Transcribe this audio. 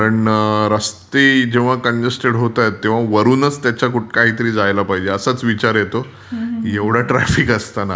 कारण रास्ते जेव्हा कांजस्तेड होतात तेव्हा वरूनच त्याच्या काहीतरी जायला पाहिजे असं विचार येतो. एवढ ट्राफिक असताना.